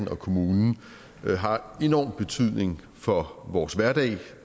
og kommunen har enorm betydning for vores hverdag og